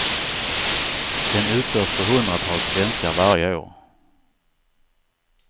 Den utförs på hundratals svenskar varje år.